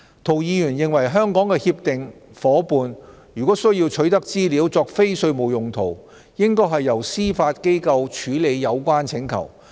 涂議員認為香港的協定夥伴如需取得資料作非稅務用途，應該由司法機構處理有關請求。